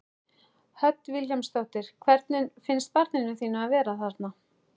Hödd Vilhjálmsdóttir: Hvernig finnst barninu þínu að vera þarna?